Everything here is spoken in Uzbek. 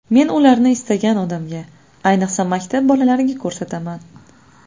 Men ularni istagan odamga, ayniqsa, maktab bolalariga ko‘rsataman.